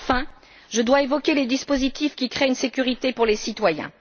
Enfin, je dois évoquer les dispositifs qui créent une sécurité pour les citoyens.